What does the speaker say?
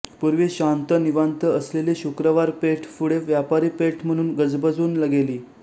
पूर्वी शांत निवांत असलेली शुक्रवार पेठ पुढे व्यापारी पेठ म्हणून गजबजून गेली